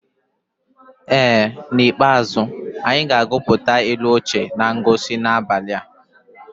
Ee n'ikpeazụ, anyị ga-agụpụta ilu ochie na ngosi n'abalị a.